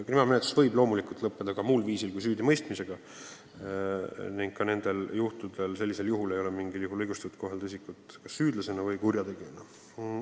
Kriminaalmenetlus võib loomulikult lõppeda ka muud viisil kui süüdimõistmisega ning loomulikult ei ole siis õige kohelda isikut kurjategijana või lihtsalt süüdlasena.